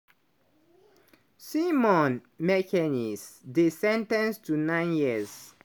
simone mekenese dey sen ten ced to nine years.